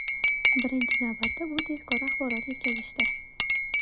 Birinchi navbatda, bu tezkor axborot yetkazishdir.